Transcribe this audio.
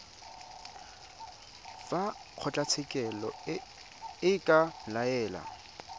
fa kgotlatshekelo e ka laela